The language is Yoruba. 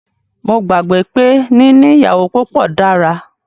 Mó gbàgbé pé níní ìyàwó púpọ dára.